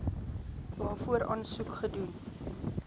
waarvoor aansoek gedoen